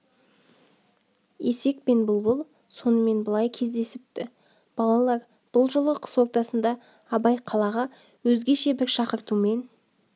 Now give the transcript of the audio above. есек пен бұлбұл сонымен былай кездесіпті балалар бұл жолы қыс ортасында абай қалаға өзгеше бір шақыртумен